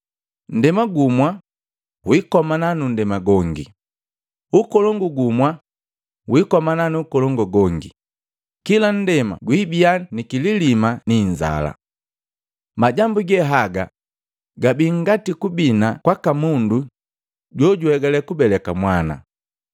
Ndema gumwa wikomana nu nndema gongi, ukolongu gumwa wikomana nu ukolongu gongi, kila nndema gwiibia nikililima niinzala. Majambu ge haga gabii ngati kubina kwaka mundu jojuhegalekubeleka mwana.